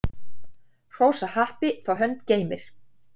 Hrósa happi þá hönd geymir.